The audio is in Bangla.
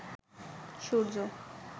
সূর্য